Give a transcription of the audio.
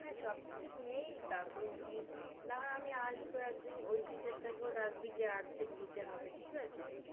হ্যাঁ সব কিছুই নিয়েই তারপরে উনি, না হয় আমি আসবো একদিন ঐ teacher টাকেও ডাকবি যে Arts এর teacher হবে, ঠিক আছে?